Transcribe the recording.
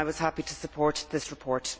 I was happy to support this report.